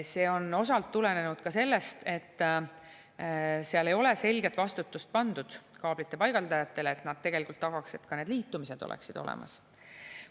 See on osalt tulenenud ka sellest, et seal ei ole selget vastutust pandud kaablite paigaldajatele, et nad tegelikult tagaks, et need liitumised oleksid olemas.